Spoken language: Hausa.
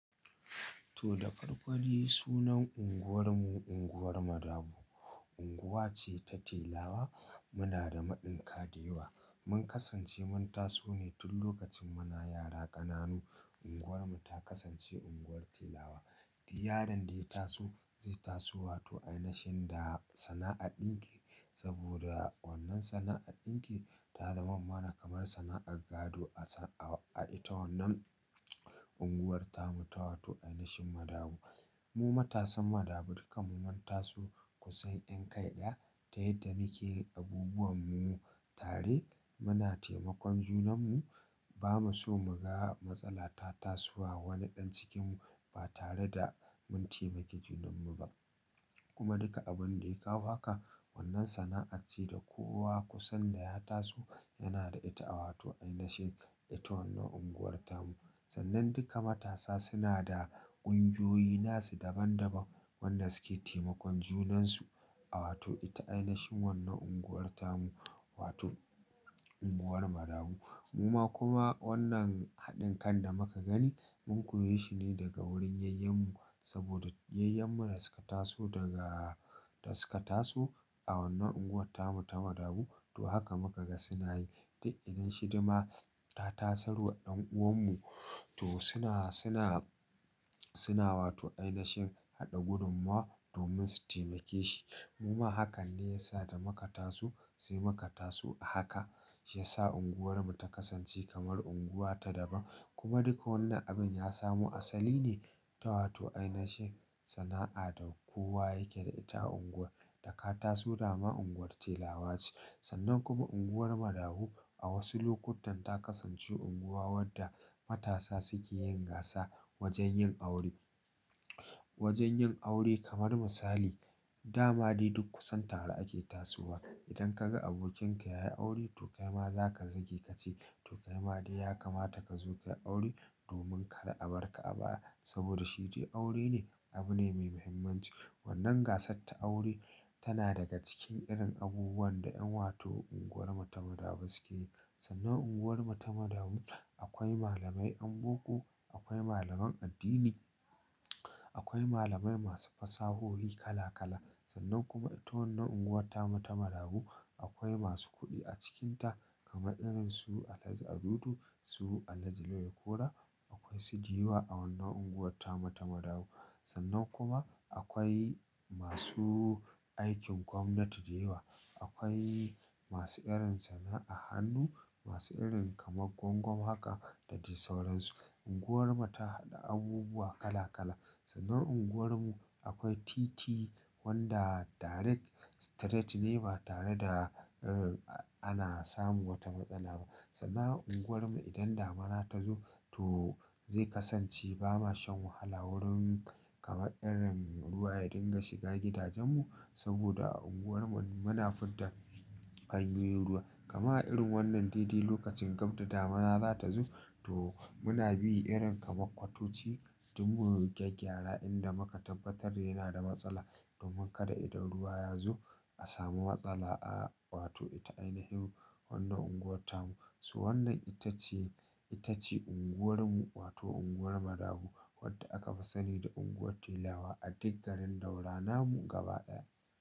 To da ƙarƙari sunan unguwarmu unguwar Madabu. Unguwa ce ta telawa muna da maɗin kaɗewa. Mun kasance mun taso ne tun lokacin muna yara ƙananu unguwarmu ta kasance unguwar talawa. Duk yaron da ya taso zai taso wato a ina shi da sana'ar ɗinki saboda wannan sana'ar ɗinki ta zama mana kamar sana'ar gado a ita wannan unguwar tamu ta wato a ina shi Madabu. Mu matasan Madabu duka mu mun ta so kusan ƴan kai ɗaya ta yadda muke abubuwan mu tare muna taimakon junan mu. Ba mu so mu ga matsala ta tasowa wani ɗan cikin mu ba tare da mun taimaki junan mu ba. Kuma duka abin da ya kawo haka wannan sana'a ce da kowa kusan da ya taso yana da ita a wato a ina shi ita wannan unguwar tamu. Sannan duka matasa suna da kungiyoyi nasu daban daban wannan suke taimakon junan su a wato ita a ina shi wannan unguwar tamu wato unguwar Madabu. Muma kuma wannan haɗin kan da muka gani mun koyi shi ne daga wurin yayyan mu saboda yayyan mu da suka taso daga da suka taso a wannan unguwar tamu ta Madabu to haka muka ga suna yi. Ta ilin shi dama ta tasar wa ɗan uwan mu to suna, suna, suna wato a ina shi haɗa gudummawa domin su taimake shi. Muma hakan ne ya sa da muka taso sai muka taso a haka ya sa unguwarmu ta kasance kamar unguwa ta daban. Kuma duka wannan abin ya samu asali ne ta wato a ina shi sana'a da kowa yake da ita a unguwar da ka taso dama unguwar telawa ce. Sannan kuma unguwar Madabu a wasu lokutan ta kasance unguwa wadda matasa suke yin gasa wajen yin aure. Wajen yin aure kamar misali dama dai duk kusan tare ake tasowa. Idan ka ga abokin ka ya yi aure to kai ma za ka zagi ka ce to kai ma dai ya kamata ka zo ka yi aure domin kada a barka a baya saboda shi dai aure ne abu ne mai muhimmanci. Wannan gasar ta aure tana daga cikin irin abubuwan da ƴan wato unguwar mu ta Madabu suke yi. Sannan unguwar mu ta Madabu akwai malamai anmako, akwai malaman addini, akwai malamai masu fasahohi kala kala. Sannan kuma ita wannan unguwar tamu ta Madabu akwai masu kuɗi a cikinta kamar irin su Alhaji Audu, su Alhaji Lawal Kora, akwai su ji wa a wannan unguwar tamu ta Madabu. Sannan kuma akwai masu aikin gwamnati da yawa. Akwai masu irin sana'a hannu, masu irin kamar gwangwam haka da dai sauransu. Unguwar mu ta haɗa abubuwa kala kala. Sannan unguwar mu akwai titi wanda direct straight ne ba tare da ana samun wata matsala ba. Sannan unguwar mu idan damuna ta zo to zai kasance ba mashan wahala wurin kamar irin ruwa ya dinga shiga gidajen mu saboda unguwar mu muna furta hanyoyin ruwa. Kamar a irin wannan daidai lokacin gab da damuna za ta zo to muna bi irin kamar kwatoci duk mu gyagygyra inda muka tabbatar yana da matsala domin kada idan ruwa ya zo a samu matsala a wato ita a ina shi wannan unguwar tamu. Su wannan ita ce, ita ce unguwar mu wato unguwar Madabu wadda aka fi sani da unguwar telawa a diggarin ɗaura namu gaba ɗaya.